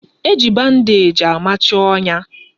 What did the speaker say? Eji bandeeji amachi ọnya